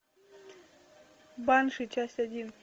банши часть один